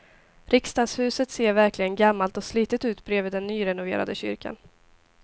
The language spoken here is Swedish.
Riksdagshuset ser verkligen gammalt och slitet ut bredvid den nyrenoverade kyrkan.